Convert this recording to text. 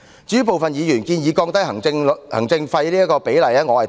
至於部分議員建議降低行政費的比例，我是贊同的。